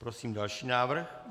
Prosím další návrh.